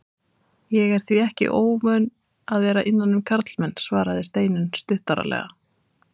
Ég er því ekki óvön að vera innan um karlmenn, svaraði Steinunn stuttaralega.